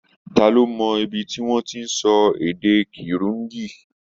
Ta ló mọ ibi tí wọ́n ti ń sọ èdè Kirundi?